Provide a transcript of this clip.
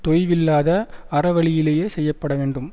தொய்வில்லாத அறவழியிலேயே செய்ய பட வேண்டும்